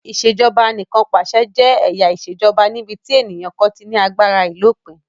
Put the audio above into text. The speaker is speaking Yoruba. Ìṣèjoba Anìkànpàṣẹ jẹ́ ẹ̀yà ìṣèjoba níbi tí ènìyàn kan ti ní agbára àìlópin